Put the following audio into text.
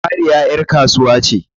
Mariya ƴar kasuwa ce.